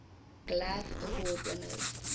glove award winners